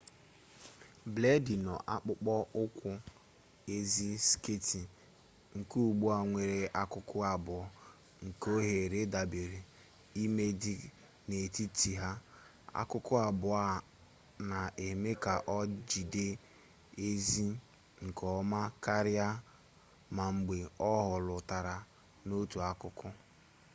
bleedi nọ n'akpụkpọ ụkwụ aịz sketị nke ugbua nwere akụkụ abụọ nke oghere dabara ime dị n'etiti ha akụkụ abụọ a na-eme ka o jide aịz nke ọma karịa ma mgbe o hulatara n'otu akụkụ